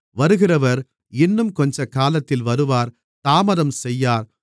வருகிறவர் இன்னும் கொஞ்சக்காலத்தில் வருவார் தாமதம் செய்யார்